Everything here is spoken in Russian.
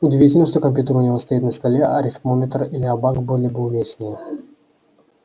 удивительно что компьютер у него стоит на столе арифмометр или абак были бы уместнее